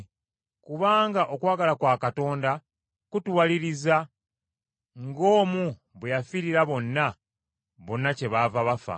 Kubanga okwagala kwa Katonda kutuwaliriza, ng’omu bwe yafiirira bonna, bonna kyebaava bafa.